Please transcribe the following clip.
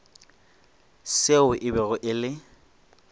seo e bego e le